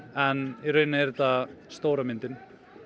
en í raun er þetta stóra myndin